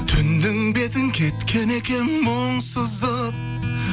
түннің бетін кеткен екен мұң сызып